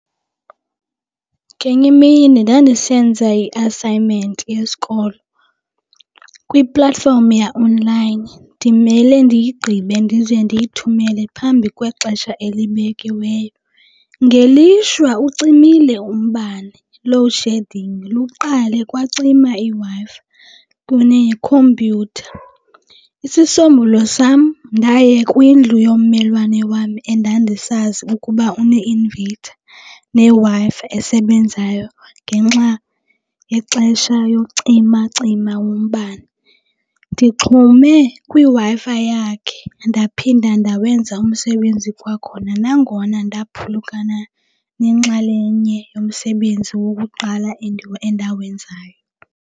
Ngenye imini ndandisenza i-assignment yesikolo kwi-platform ya-online ndimele ndiyigqibe ndize ndiyithumele phambi kwexesha elibekiweyo. Ngelishwa ucimile umbane, load shedding, luqale kwacima iWi-Fi kunekhompyutha. Isisombululo sam ndaye kwindlu yommelwane wam endandisazi ukuba une-inverter neWi-Fi esebenzayo ngenxa yexesha yocimacima wombane. Ndixhume kwiWi-Fi yakhe ndaphinda ndawenza umsebenzi kwakhona nangona ndaphulukana nenxalenye yomsebenzi wokuqala endawenzayo.